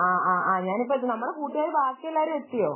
ആഹ് ആഹ് ഞാൻ ഇപ്പം എത്തും നമ്മുടെ കൂട്ടുകാർ ബാക്കിയെല്ലാവരും എത്തിയോ